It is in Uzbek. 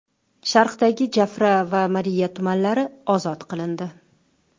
Sharqdagi Jafra va Mariiya tumanlari ozod qilindi.